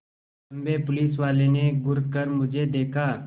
लम्बे पुलिसवाले ने घूर कर मुझे देखा